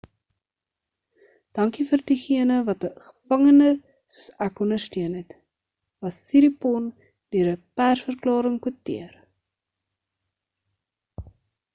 dankie vir diegene wat 'n gevangende soos ek ondersteun het was siriporn deur 'n persverklaring kwoteer